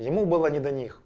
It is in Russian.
ему было не до них